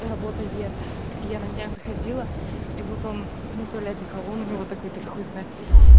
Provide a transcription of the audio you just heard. работает я на днях заходила и вот он ну толи одеколон у него такой толи хуй его знает